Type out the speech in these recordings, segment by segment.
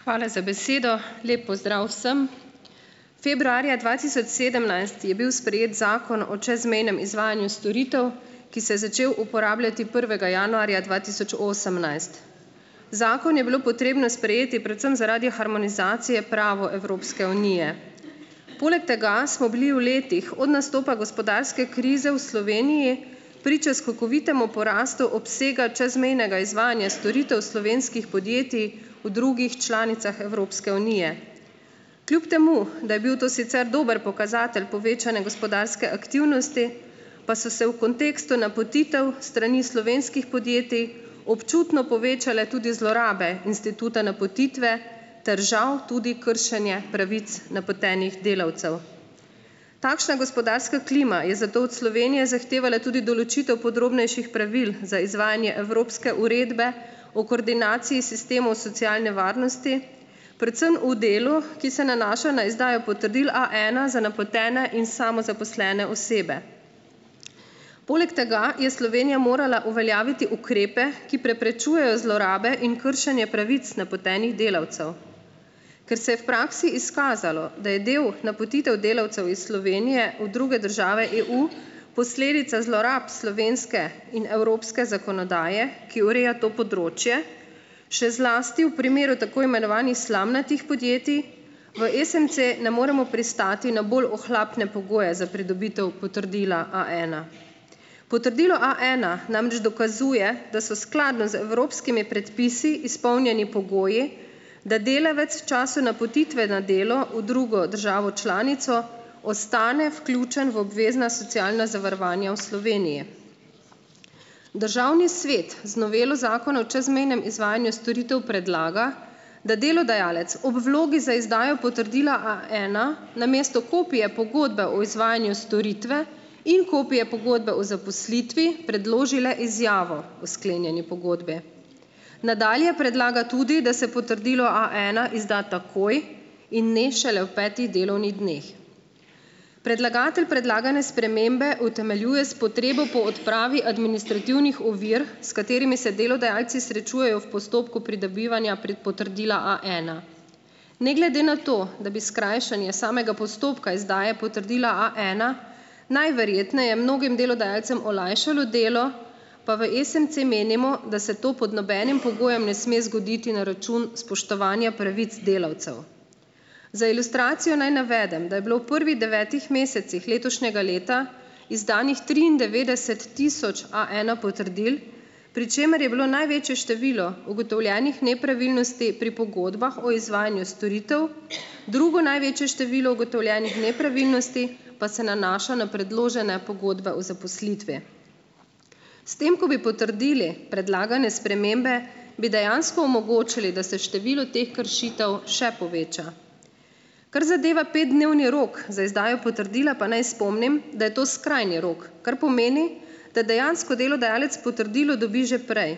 Hvala za besedo. Lep pozdrav vsem! Februarja dva tisoč sedemnajst je bil sprejet Zakon o čezmejnem izvajanju storitev, ki se je začel uporabljati prvega januarja dva tisoč osemnajst. Zakon je bilo potrebno sprejeti predvsem zaradi harmonizacije prava Evropske unije. Poleg tega smo bili v letih od nastopa gospodarske krize v Sloveniji priče skokovitemu porastu obsega čezmejnega izvajanja storitev slovenskih podjetij v drugih članicah Evropske unije. Kljub temu da je bil to sicer dober pokazatelj povečane gospodarske aktivnosti, pa so se v kontekstu napotitev s strani slovenskih podjetij občutno povečale tudi zlorabe instituta napotitve ter žal tudi kršenje pravic napotenih delavcev. Takšna gospodarska klima je zato od Slovenije zahtevala tudi določitev podrobnejših pravil za izvajanje Evropske uredbe o koordinaciji sistemov socialne varnosti, predvsem v delu, ki se nanaša na izdajo potrdil A ena za napotene in samozaposlene osebe. Poleg tega je Slovenija morala uveljaviti ukrepe, ki preprečujejo zlorabe in kršenje pravic napotenih delavcev. Ker se je v praksi izkazalo, da je del napotitev delavcev iz Slovenije v druge države EU posledica zlorab slovenske in evropske zakonodaje, ki ureja to področje še zlasti v primeru tako imenovanih slamnatih podjetij, v SMC ne moremo pristati na bolj ohlapne pogoje za pridobitev potrdila A ena. Potrdilo A ena namreč dokazuje, da so skladno z evropskimi predpisi izpolnjeni pogoji, da delavec v času napotitve na delo v drugo državo članico ostane vključen v obvezna socialna zavarovanja v Sloveniji. Državni svet z novelo zakona o čezmejnem izvajanju storitev predlaga, da delodajalec ob vlogi za izdajo potrdila A ena namesto kopije pogodbe o izvajanju storitve in kopije pogodbe o zaposlitvi predloži le izjavo o sklenjeni pogodbi. Nadalje predlaga tudi, da se potrdilo A ena izda takoj in ne šele v petih delovnih dneh. Predlagatelj predlagane spremembe utemeljuje s potrebo po odpravi administrativnih ovir, s katerimi se delodajalci srečujejo v postopku pridobivanja potrdila A ena. Ne glede na to, da bi skrajšanje samega postopka izdaje potrdila A ena najverjetneje mnogih delodajalcem olajšalo delo, pa v SMC menimo, da se to pod nobenim pogojem ne sme zgoditi na račun spoštovanja pravic delavcev. Za ilustracijo naj navedem, da je bilo v prvi devetih mesecih letošnjega leta izdanih triindevetdeset tisoč A ena potrdil, pri čemer je bilo največje število ugotovljenih nepravilnosti pri pogodbah o izvajanju storitev, drugo največje število ugotovljenih nepravilnosti pa se nanaša na predložene pogodbe o zaposlitvi. S tem, ko bi potrdili predlagane spremembe, bi dejansko omogočili, da se število teh kršitev še poveča. Kar zadeva petdnevni rok za izdajo potrdila, pa naj spomnim, da je to skrajni rok, kar pomeni, da dejansko delodajalec potrdilo dobi že prej,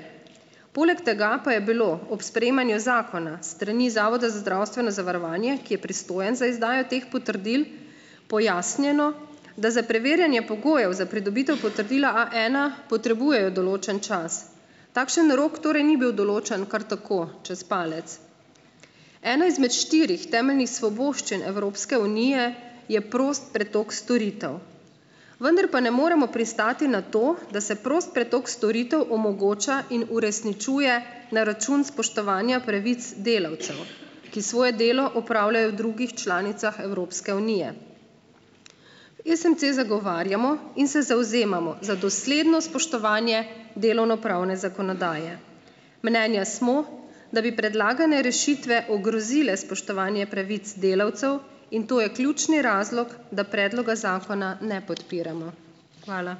poleg tega pa je bilo ob sprejemanju zakona s strani zavoda za zdravstveno zavarovanje, ki je pristojen za izdajo teh potrdil, pojasnjeno, da za preverjanje pogojev za pridobitev potrdila A ena potrebujejo določen čas, takšen rok torej ni bil določen kar tako čez palec. Ena izmed štirih temeljnih svoboščin Evropske unije je prost pretok storitev, vendar pa ne moremo pristati na to, da se prost pretok storitev omogoča in uresničuje na račun spoštovanja pravic delavcev, ki svoje delo opravljajo v drugih članicah Evropske unije. SMC zagovarjamo in se zavzemamo za dosledno spoštovanje delovnopravne zakonodaje. Mnenja smo, da bi predlagane rešitve ogrozile spoštovanje pravic delavcev in to je ključni razlog, da predloga zakona ne podpiramo. Hvala.